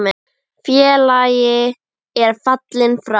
Félagi er fallinn frá.